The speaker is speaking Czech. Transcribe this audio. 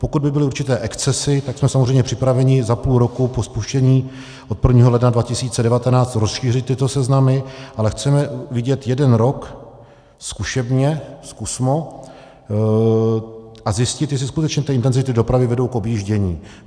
Pokud by byly určité excesy, tak jsme samozřejmě připraveni za půl roku po spuštění od 1. ledna 2019 rozšířit tyto seznamy, ale chceme vidět jeden rok zkušebně, zkusmo, a zjistit, jestli skutečně ty intenzity dopravy vedou k objíždění.